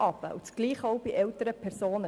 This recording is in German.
Dasselbe gilt auch bei älteren Personen.